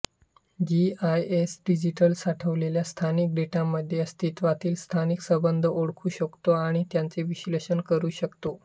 GIS digital साठवलेल्या स्थानिक डेटामध्ये अस्तित्वातील स्थानिक संबंध ओळखू शकतो आणि त्यांचे विश्लेषण करू शकतो